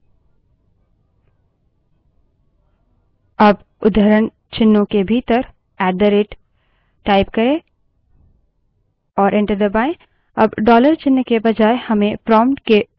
ऐसा करने के लिए पीएसवन बड़े अक्षर में इक्वल –टू अब उद्धरणचिन्हों के भीतर ऐट द rate type करें और enter दबायें